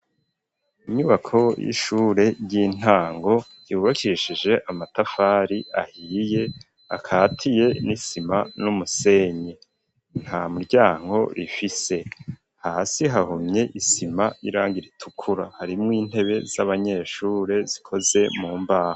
Imyubako y'ishure ry'intango yubakishije amatafari ahiriye akatiye n'isima n'umusenyi nta muryango rifise hasi hahumye isima n'irangi ritukura harimwo intebe z'abanyeshure zikoze mu mbaho.